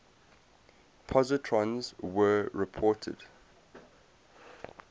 positrons were reported